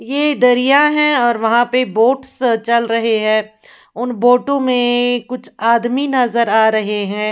यह दरिया है और वहाँ पे बोट्स चल रहे हैं उन बोट्स में कुछ आदमी नजर आ रहे हैं।